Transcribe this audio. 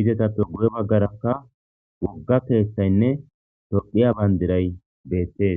izetappe guye baggarakka wogga keeththaynne torqiya bayndiray beettees.